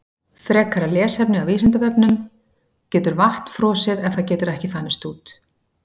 Frekara lesefni af Vísindavefnum: Getur vatn frosið ef það getur ekki þanist út?